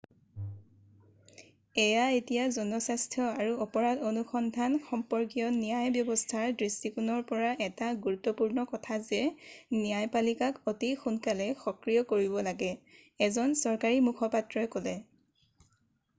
এয়া এতিয়া জনস্বাস্থ্য আৰু অপৰাধ অনুসন্ধান সম্পৰ্কীয় ন্যায় ব্যৱস্থাৰ দৃষ্টিকোণৰ পৰা এটা গুৰুত্বপূৰ্ণ কথা যে ন্যায়পালিকাক অতি সোনকালে সক্ৰিয় কৰিব লাগে এজন চৰকাৰী মুখপাত্ৰই ক'লে